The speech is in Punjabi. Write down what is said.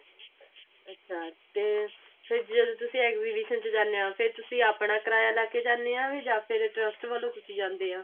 ਅੱਛਾ ਤੇ ਫਿਰ ਜਦੋਂ ਤੁਸੀਂ exhibition ਚ ਜਾਂਦੇ ਓ ਫਿਰ ਤੁਸੀਂ ਅਪਣਾ ਕਿਰਾਇਆ ਲਾ ਕੇ ਜਾਣੇ ਓ ਵੀ ਜਾਂ ਫਿਰ trust ਵੱਲੋਂ ਤੁਸੀਂ ਜਾਂਦੇ ਆ